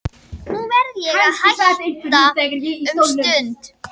Nú verð ég að hætta um stund.